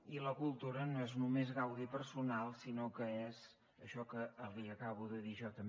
i la cultura no és només gaudi personal sinó que és això que li acabo de dir jo també